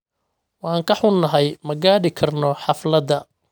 Waan ka xunnahay ma gaadhi karno xafladda